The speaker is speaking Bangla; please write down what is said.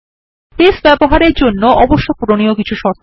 বেস ব্যবহারের জন্যে অবশ্য পূরণীয় শর্ত